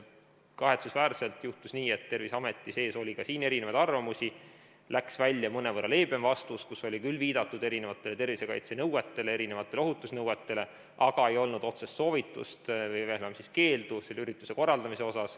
Kahetsusväärselt juhtus nii, et Terviseameti sees oli siin erinevaid arvamusi ning läks välja mõnevõrra leebem vastus, kus oli küll viidatud erinevatele tervisekaitsenõuetele, ohutusnõuetele, aga ei olnud otsest soovitust või veel vähem keeldu selle ürituse korraldamise kohta.